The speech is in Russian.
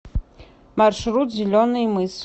маршрут зеленый мыс